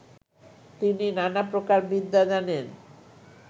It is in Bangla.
তিনি নানা প্রকার বিদ্যা জানেন